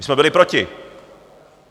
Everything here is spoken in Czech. My jsme byli proti.